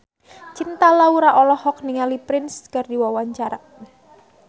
Cinta Laura olohok ningali Prince keur diwawancara